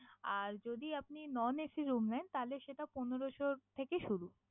আর যদি আপনি non AC room নেন তাহলে সেটা পনেরোশো থেকে শুরু।